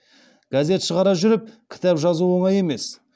газет шығара жүріп кітап жазу оңай емес